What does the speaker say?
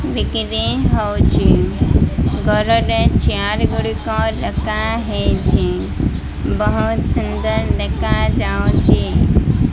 ବିକ୍ରି ହଉଛି ଘରରେ ଚେୟାର ଗୁଡ଼ିକ ଦେଖାହେଉଛି ବହୁତ୍ ସୁନ୍ଦର ଦେଖାଯାଉଛି।